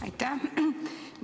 Aitäh!